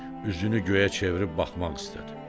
Üzünü göyə çevirib baxmaq istədi.